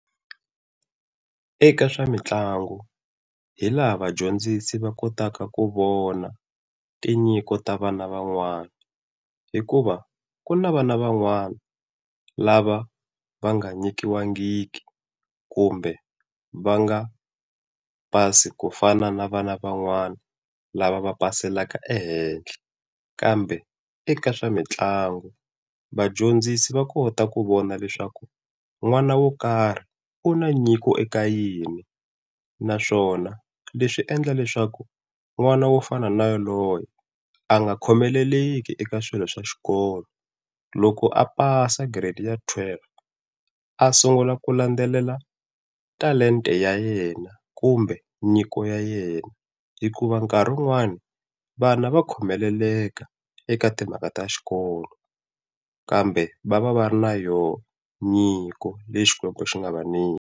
Eka swa mitlangu hi laha vadyondzisi va kotaka ku vona tinyiko ta vana van'wana, hikuva ku na vana van'wani lava va nga nyikiwangiki kumbe va nga pasi ku fana na vana van'wani lava va paseka ehenhla. Kambe eka swa mitlangu vadyondzisi va kota ku vona leswaku n'wana wo karhi u na nyiko eka yini, naswona leswi swi endla leswaku n'wana wo fana na yoloye a nga khomeleleki eka swilo swa xikolo. Loko a pasa giredi ya twelve a sungula ku landzelela talenta ya yena kumbe nyiko ya yena. Hikuva nkarhi wun'wani vana va khomeleleka eka timhaka ta xikolo kambe va va va ri na yo nyiko leyi Xikwembu xi nga va nyika.